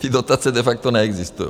Ty dotace de facto neexistují.